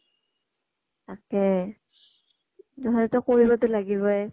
তাকেই কৰিবতো লাগিবই ।